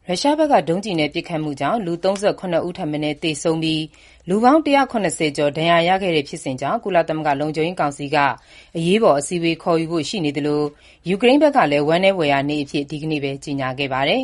ရုရှားက ဒုံးကျည်တွေနဲ့ ပစ်ခတ်လို့ ယူကရိန်းမှာ မနေ့က လူ ၃၇ ဦးထက်မနည်း သေဆုံးပြီး လူပေါင်း ၁၇၀ ကျော် ထိခိုက် ဒဏ်ရာ ရခဲ့ပြီးတဲ့နောက် ကုလသမဂ္ဂ လုံခြုံရေးကောင်စီမှာ ဒီကိစ္စ အရေးပေါ် အစည်းအဝေး ခေါ်ယူဖို့ ရှိနေသလို၊ ယူကရိန်း ကလည်း ဝမ်းနည်းဖွယ်ရာနေ့ အဖြစ် ဒီကနေ့ ကြေညာခဲ့ပါတယ်